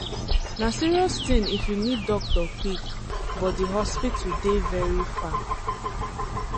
na serious thing if you need doctor quick but the hospital dey very far.